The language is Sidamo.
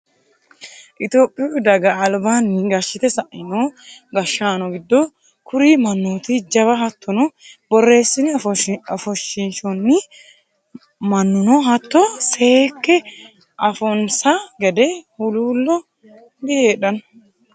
Itophiyu daga albaanni gashshite saino gashshaano giddo kuri mannotiti jawate hattono borreesine ofoshishonni mannuno hatto seekke afanonsa gede huluulo dihedhanoe.